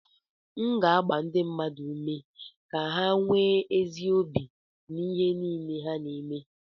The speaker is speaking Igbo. M ga na-agba ndị mmadụ ume ka ha nwee ezi obi n'ihe niile ha na-eme